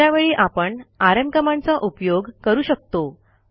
अशा वेळी आपण आरएम कमांडचा उपयोग करू शकतो